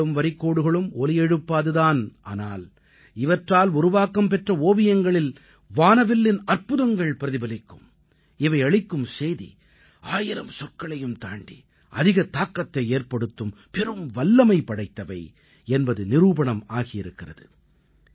வண்ணங்களும் வரிக்கோடுகளும் ஒலி எழுப்பாது தான் ஆனால் இவற்றால் உருவாக்கம் பெற்ற ஓவியங்களில் வானவில்லின் அற்புதங்கள் பிரதிபலிக்கும் இவையளிக்கும் செய்தி ஆயிரம் சொற்களையும் தாண்டி அதிக தாக்கத்தை ஏற்படுத்தும் பெரும் வல்லமை படைத்தவை என்பது நிரூபணம் ஆகியிருக்கிறது